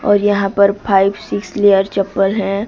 और यहां पर फाइव सिक्स लेयर चप्पल है।